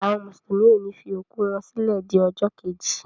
Àwọn mùsùlùmí ọ ni fi òkú wọ́n sílẹ di ọjọ́ keji.